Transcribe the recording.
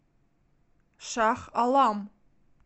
шах алам